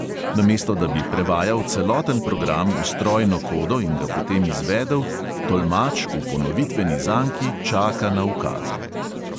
Namesto da bi prevajal celoten program v strojno kodo in ga potem izvedel, tolmač v ponovitveni zanki čaka na ukaze.